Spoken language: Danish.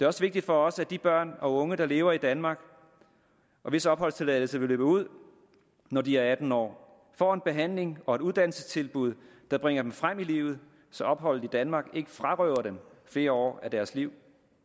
også vigtigt for os at de børn og unge der lever i danmark og hvis opholdstilladelse vil løbe ud når de er atten år får en behandling og et uddannelsestilbud der bringer dem frem i livet så opholdet i danmark ikke frarøver dem flere år af deres liv